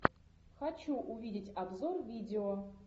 хочу увидеть обзор видео